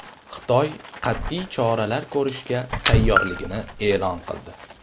Xitoy qat’iy choralar ko‘rishga tayyorligini e’lon qildi.